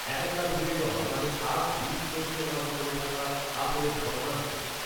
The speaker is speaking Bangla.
একাকার হয়ে যাওয়া মানে সাত বীরশ্রেষ্টর মাঝে পড়ে থাকা পাথরের ভগ্নাঙশ